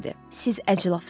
Siz əclafsız.